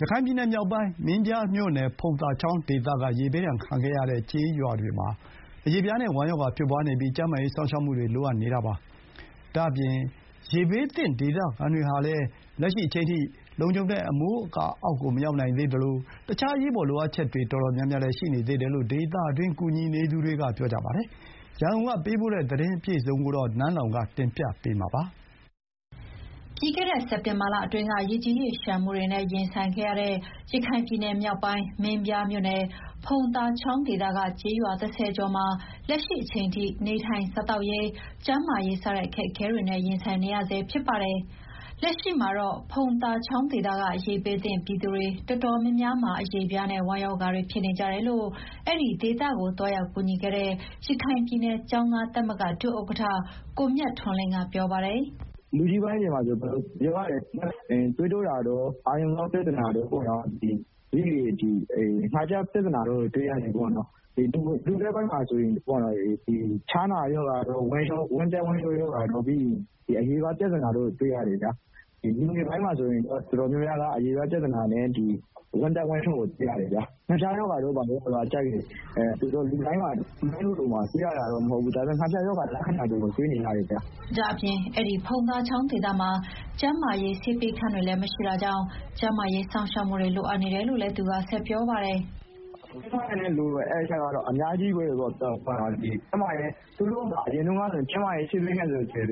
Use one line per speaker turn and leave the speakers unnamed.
ရခိုင်ပြည်နယ်မြောက်ပိုင်း မင်းပြားမြို့နယ် ဖုံသာချောင်းဒေသက ရေဘေးဒဏ်ခံခဲ့ရတဲ့ ကျေးရွာတွေမှာ အရေပြားနဲ့ ဝမ်းရောဂါတွေဖြစ်နေပြီးကျန်းမာရေးစောင့်ရှောက်မှု လိုအပ်နေပါတယ်။ ဒါ့အပြင် ရေဘေး သင့်ဒေသခံတွေဟာလည်း လက်ရှိအချိန်ထိ လုံခြုံတဲ့အမိုးအကာအောက်ကို မရောက်နိုင်သေး သလို ရေဘေးသင့်ဒေသခံတွေအတွက် အရေးပေါ် လိုအပ်ချက်တွေ တော်တော်များများ ရှိနေသေးတယ်လို့ ဒေသတွင်းကူညီနေသူတွေက ပြောပါတယ်။ သတင်းအပြည့်အစုံကိုတော့ ရန်ကုန်ကပေးပို့ထား ပါတယ်
။ ပြီးခဲ့တဲ့စက်တင်ဘာလအတွင်းက ရေကြီးရေလျှံမှုတွေနဲ့ရင်ဆိုင်ခဲ့ရတဲ့ ရခိုင်ပြည်နယ်မြောက်ပိုင်း မင်းပြားမြို့နယ် ဖုံသာချောင်းဒေသက ကျေးရွာ ၁ဝ ကျော်မှာ လက်ရှိအချိန်ထိ နေထိုင်စားသောက်ရေး ကျန်းမာရေးစတဲ့ အခက်အခဲတွေနဲ့ ရင်ဆိုင်နေရဆဲဖြစ်ပါတယ်။ လက်ရှိမှာတော့ ဖုံသာချောင်းဒေသက ရေဘေးသင့်ပြည်သူတွေတော်တော်များများမှာ အရေပြားနဲ့ ဝမ်းရောဂါတွေဖြစ်နေကြတယ်လို့ အဲဒီဒေသကိုသွားရောက်ကူညီခဲ့တဲ့ ရခိုင်ပြည်နယ် ကျောင်းသားသမဂ္ဂဒုဥက္ကဋ္ဌ ကိုမြတ်လင်းထွန်းကပြောပါတယ်။
“လူကြီးပိုင်းတွေမှာဆိုရင် သွေးတိုးတာတို့၊ အာရုံကြောပြဿနာတို့ ပြီးတော့ ငှက်ဖျားပြ ဿနာတွေ တွေ့ရတယ်၊ လူလတ်ပိုင်းတွေမှာဆိုရင် ဖျားနာတာတို့၊ ဝမ်းပျက်ဝမ်းလျှောဖြစ်တာတို့တွေ့ရတယ်။ အရေပြားပြဿနာတို့ တွေ့ရတယ်။ လူငယ်ပိုင်းတွေမှာဆိုရင် တော်တော်များများက အရေပြား ပြဿနာနဲ့ ဝမ်းပျက်ဝမ်းလျှောဖြစ်တာတွေတွေ့ရတယ်။ ငှက်ဖျားရောဂါတော့ လူတိုင်းမှာတွေ့ရ တာမဟုတ်ဘူး။ ဒါပေမယ့် ငှက်ဖျားလက္ခာတွေ တွေ့ရတယ်။
” ဒါ့အပြင် အဲဒီဖုံသာချောင်းဒေသမှာ ကျန်းမာရေးဆေးပေးခန်းတွေလည်းမရှိတာကြောင့် ကျန်းမားရေး စောင့်ရှောက်မှုတွေ လိုအပ်နေတယ်လို့လည်း သူကဆက်ပြောပါတယ်။ “
ကျန်းမာရေးစောင့်ရှောက်မှုကတော့ တော်တော်လိုအပ်နေတယ်။ အဲဒီဖုန်သာချောင်း တချောင်းလုံးမှာ ကျန်းမာရေးဆေးပေးခန်း တခန်း